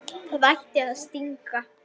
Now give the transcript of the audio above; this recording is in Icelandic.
Það ætti að stinga.